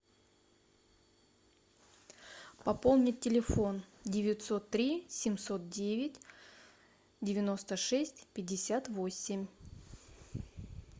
пополнить телефон девятьсот три семьсот девять девяносто шесть пятьдесят восемь